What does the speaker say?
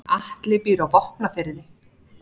Atli býr á Vopnafirði.